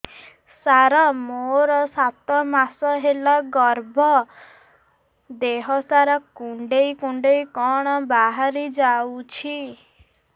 ସାର ମୋର ସାତ ମାସ ହେଲା ଗର୍ଭ ଦେହ ସାରା କୁଂଡେଇ କୁଂଡେଇ କଣ ବାହାରି ଯାଉଛି